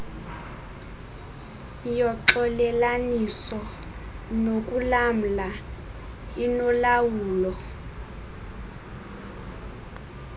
yoxolelaniso nokulamla inolawulo